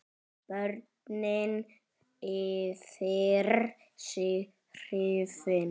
Börnin yfir sig hrifin.